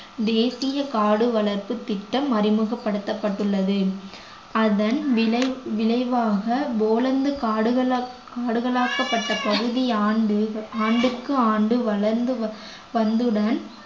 தேசிய காடு வளர்ப்புத் திட்டம் அறிமுகப்படுத்தப்பட்டுள்ளது அதன் விளை~ விளைவாக போலந்து காடுகளா~ காடுகளாக்கப்பட்ட பகுதியே ஆண்டு ஆண்டுக்கு ஆண்டு வளர்ந்து வ~ வந்ததுடன்